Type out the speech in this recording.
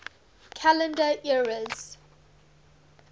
calendar eras